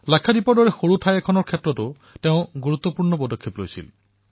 লাক্ষাদ্বীপৰ দৰে সৰু ঠাইৰ বাবেও তেওঁ গুৰুত্বপূৰ্ণ ভূমিকা পালন কৰিছিল